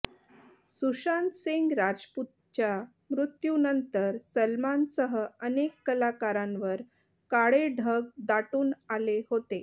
सुशांत सिंह राजपूतच्या मृत्यूनंतर सलमानसह अनेक कलाकारांवर काळे ढग दाटून आले होते